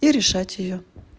и решать её